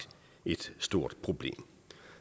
et stort problem